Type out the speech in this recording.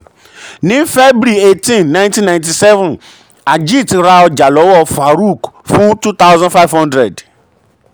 ní febuary eighteen nineteen ninety seven ajit ra ọjà lọ́wọ́ farook fún two thousand five hundred